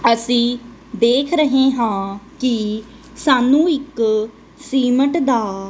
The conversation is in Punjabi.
ਅਸੀਂ ਦੇਖ ਰਹੇ ਹਾਂ ਕਿ ਸਾਨੂੰ ਇੱਕ ਸੀਮੇਂਟ ਦਾ --